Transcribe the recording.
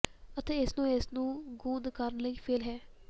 ਅਤੇ ਇਸ ਨੂੰ ਇਸ ਨੂੰ ਗੂੰਦ ਕਰਨ ਲਈ ਫੇਲ੍ਹ ਹੈ